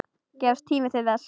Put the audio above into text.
Gefst tími til þess?